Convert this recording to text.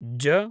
ज